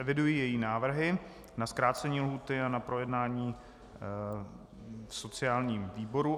Eviduji její návrhy na zkrácení lhůty a na projednání v sociálním výboru.